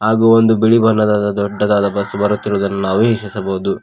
ಹಾಗು ಒಂದು ಬಿಳಿ ಬಣ್ಣದದಾದ ದೊಡ್ಡದಾದ ಬಸ್ ಬರುತಿರುವುದನ್ನು ನಾವು ವೀಕ್ಷಿಸಬಹುದು.